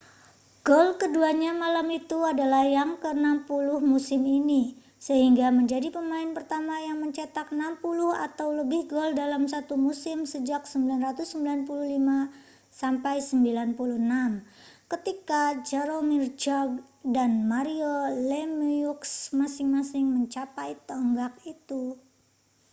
gol keduanya malam itu adalah yang ke-60 musim ini sehingga menjadi pemain pertama yang mencetak 60 atau lebih gol dalam satu musim sejak 1995-96 ketika jaromir jagr dan mario lemieux masing-masing mencapai tonggak itu